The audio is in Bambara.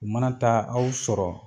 U mana taa aw sɔrɔ